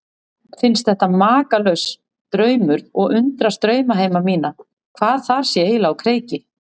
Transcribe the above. Finnst þetta makalaus draumur og undrast draumheima mína, hvað þar sé eiginlega á kreiki.